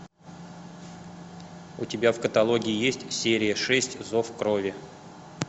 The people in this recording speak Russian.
у тебя в каталоге есть серия шесть зов крови